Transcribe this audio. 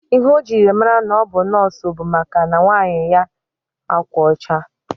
Ihe ojiri mara na ọbu nọọsụ bu maka na nwaanyi yi akwa ocha.